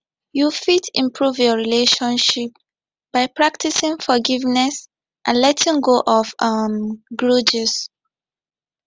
you fit improve your relationship by practicing forgiveness and letting go of um grudges